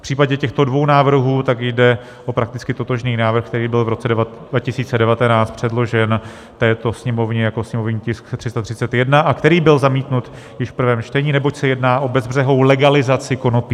V případě těchto dvou návrhů tak jde o prakticky totožný návrh, který byl v roce 2019 předložen této Sněmovně jako sněmovní tisk 331 a který byl zamítnut již v prvém čtení, neboť se jedná o bezbřehou legalizaci konopí.